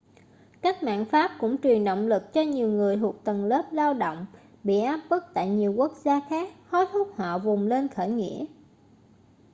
cách mạng pháp cũng truyền động lực cho nhiều người thuộc tầng lớp lao động bị áp bức tại nhiều quốc gia khác hối thúc họ vùng lên khởi nghĩa